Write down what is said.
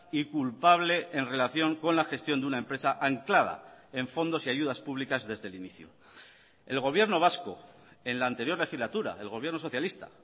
y culpable en relación con la gestión de una empresa anclada en fondos y ayudas públicas desde el inicio el gobierno vasco en la anterior legislatura el gobierno socialista